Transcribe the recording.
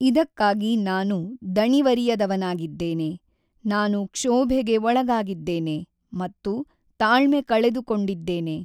ಇದಕ್ಕಾಗಿ ನಾನು ದಣಿವರಿಯದವನಾಗಿದ್ದೇನೆ, ನಾನು ಕ್ಷೋಭೆಗೆ ಒಳಗಾಗಿದ್ದೇನೆ ಮತ್ತು ತಾಳ್ಮೆ ಕಳೆದುಕೊಂಡಿದ್ದೇನೆ.